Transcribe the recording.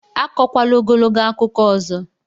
Akọkwala ogologo akụkọ ọzọ!